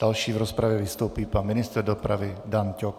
Další v rozpravě vystoupí pan ministr dopravy Dan Ťok.